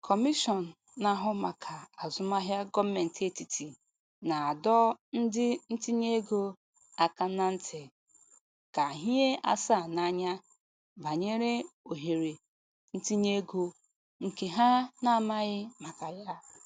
Kọmishọn na-ahụ maka Azụmahịa Gọọmentị Etiti na-adọ ndị ntinyeego aka na ntị ka hie asaa n'anya banyere ohere ntinyeego ndị ha na-amaghị maka ya.